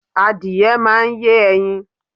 Adìye máa ń yé ẹyin.